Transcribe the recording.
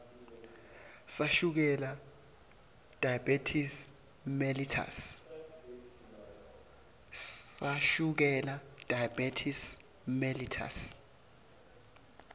sashukela diabetes mellitus